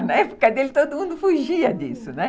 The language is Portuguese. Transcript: Na época dele, todo mundo fugia disso, né?